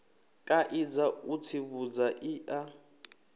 kaidza u tsivhudza i a